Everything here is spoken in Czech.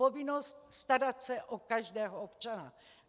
Povinnost starat se o každého občana.